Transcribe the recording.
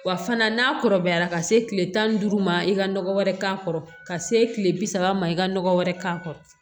Wa fana n'a kɔrɔbayara ka se kile tan ni duuru ma i ka nɔgɔ wɛrɛ k'a kɔrɔ ka se kile bi saba ma i ka nɔgɔ wɛrɛ k'a kɔrɔ